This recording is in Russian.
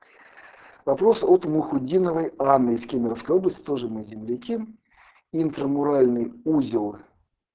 вопрос от мухутдиновой анны из кемеровской области тоже мы земляки интрамуральный узел